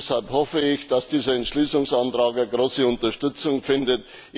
Deshalb hoffe ich, dass dieser Entschließungsantrag große Unterstützung findet.